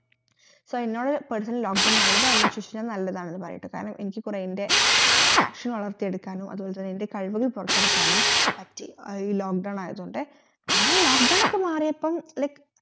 so എന്നോട് personally lock down നല്ലതാണോ ചോതിച്ചാൽ ഞാൻ നല്ലതാണേത് പറയട്ടെ കാരണം എനിക്ക് കൊറേ ൻറെ കൊറേ passion വളർത്തി എടക്കാനും അതുപോലെ തന്നെ ൻറെ കഴിവുകൾ പൊറത്തെടുക്കാനും പറ്റി ആ ഈ lock down ആയോണ്ട് അങ്ങനെ lock down കെ മാറിയപ്പം like